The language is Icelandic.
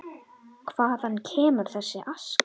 Hvaðan kemur þessi aska?